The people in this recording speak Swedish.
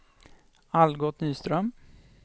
Algot Nyström